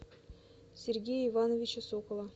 сергея ивановича сокола